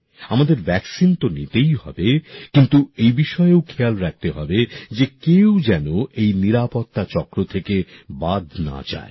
আমাদের টিকা তো নিতেই হবে কিন্তু এই বিষয়ও খেয়াল রাখতে হবে যে কেউ যাতে এই নিরাপত্তা চক্র থেকে বাদ না যায়